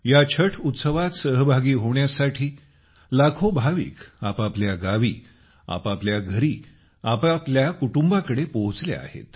या छठ उत्सवात सहभागी होण्यासाठी लाखो भाविक आपापल्या गावी आपापल्या घरी आपल्या कुटुंबाकडे पोहोचले आहेत